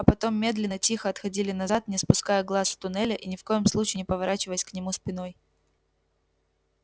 а потом медленно тихо отходили назад не спуская глаз с туннеля и ни в коем случае не поворачиваясь к нему спиной